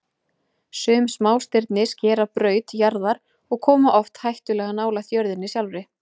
Sum smástirni skera braut jarðar og koma oft hættulega nálægt jörðinni sjálfri.